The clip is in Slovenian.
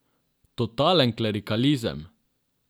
Totalen klerikalizem!